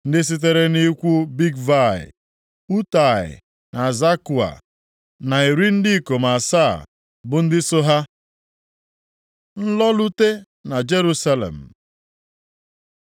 ndị sitere nʼikwu Bigvai, Utai na Zakua na iri ndị ikom asaa (70) bụ ndị so ha. Nlọrute na Jerusalem